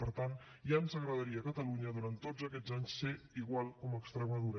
per tant ja ens agradaria a catalunya durant tots aquests anys ser igual que extremadura